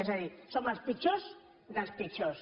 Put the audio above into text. és a dir som els pitjors dels pitjors